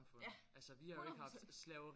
Ja 100%